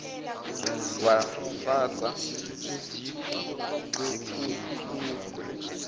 wafasa uziphu webhulukwe